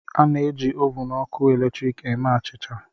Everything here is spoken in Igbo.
A na-eji ovun ọkụ eletrik eme achịcha.